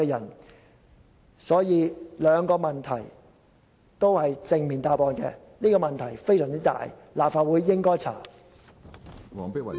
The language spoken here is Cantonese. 因此，既然上述兩個問題的答案也是正面的，而且事關重大，立法會應該調查。